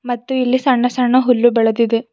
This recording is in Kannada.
ಮತ್ತು ಇಲ್ಲಿ ಸಣ್ಣ ಸಣ್ಣ ಹುಲ್ಲು ಬೆಳೆದಿದೆ.